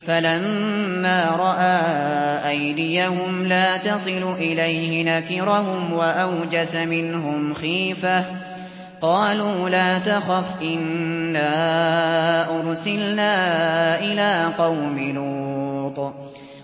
فَلَمَّا رَأَىٰ أَيْدِيَهُمْ لَا تَصِلُ إِلَيْهِ نَكِرَهُمْ وَأَوْجَسَ مِنْهُمْ خِيفَةً ۚ قَالُوا لَا تَخَفْ إِنَّا أُرْسِلْنَا إِلَىٰ قَوْمِ لُوطٍ